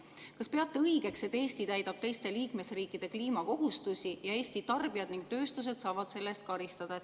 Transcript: Kas peate õigeks, et Eesti täidab teiste liikmesriikide kliimakohustusi ning Eesti tarbijad ja tööstus saavad selle eest karistada?